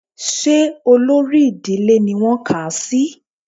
Ṣé olórí ìdílé ni wọ́n kà á sí